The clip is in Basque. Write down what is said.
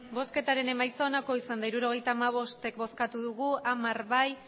emandako botoak hirurogeita hamabost bai hamar ez